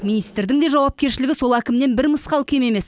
министрдің де жауапкершілігі сол әкімнен бір мысқал кем емес